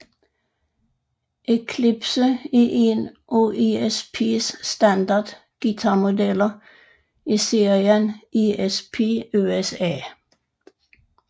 Eclipse er en af ESPs standard guitarmodeller i serien ESP USA